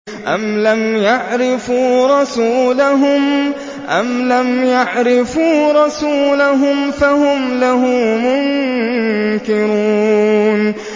أَمْ لَمْ يَعْرِفُوا رَسُولَهُمْ فَهُمْ لَهُ مُنكِرُونَ